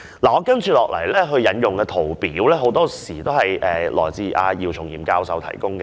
我接下來要引用的圖表，很多均由姚松炎教授提供。